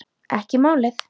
Ekki málið!